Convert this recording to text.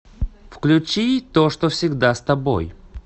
включи то что всегда с тобой